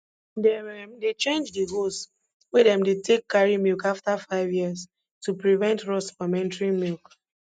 dem um dey change de hose wey dem dey take carry milk afta five years to prevent rust from entering milk